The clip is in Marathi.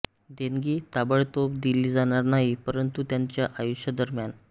देणगी ताबडतोब दिली जाणार नाही परंतु त्यांच्या आयुष्यादरम्यान